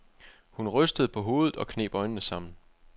Hun rystede på hovedet og kneb øjnene sammen.